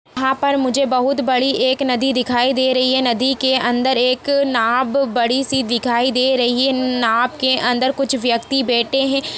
यहाँ पर मुझे बहुत बड़ी एक नदी दिखाई दे रही है नदी के अंदर एक नाब बड़ी -सी दिखाई दे रही है नाब के अंदर कुछ व्यक्ति बैठे हैं।